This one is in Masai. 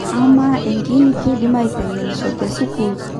Ama enkiini keidimi aitengenisho tesukul?